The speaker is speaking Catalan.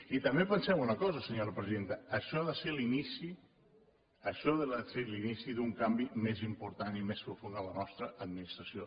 i també pensem una cosa senyora vicepresidenta això ha de ser l’inici això ha de ser l’inici d’un canvi més important i més profund en la nostra administració